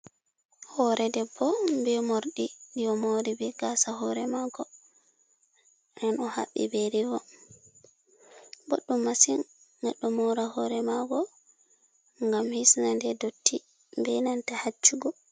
Hoore debbo bee morɗi ɗi o moori bee gaasa hoore maako nden o haɓɓi be rivon, boɗɗum masin goɗɗo moora hoore maako ngam hisna nde dotti bee nanta haccugo.